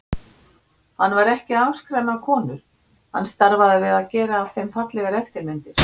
Hann var ekki að afskræma konur, hann starfaði við að gera af þeim fallegar eftirmyndir.